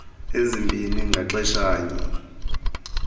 ezibini ngaxesha nye